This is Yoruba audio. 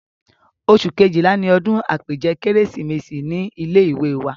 oṣù Kejìlá ni odún àpèjẹ kérésìmesì ní ilé ìwé wa